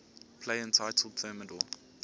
play entitled thermidor